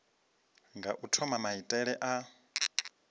nga u thoma maitele a